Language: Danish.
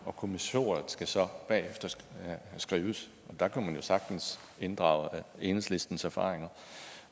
og kommissoriet skal så bagefter skrives der kunne man jo sagtens inddrage enhedslistens erfaringer